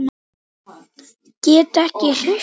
Get ekki hreyft mig.